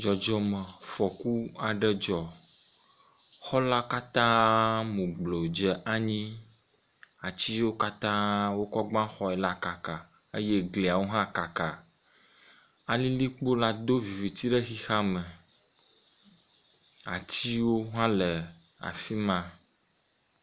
Dzɔdzɔmefɔku aɖe dzɔ, xɔ la katãaa mu gblo dze anyi. Ati yiwo katã wokɔ gba xɔe la kaka eye gliawo hã kaka. Alilikpowo do viviti le xexeame, atiwo hã le afi ma.